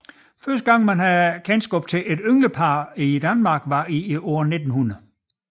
Første gang man har kendskab til et ynglepar i Danmark var i året 1900